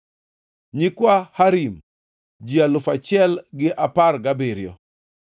nyikwa Harim, ji alufu achiel gi apar gabiriyo (1,017).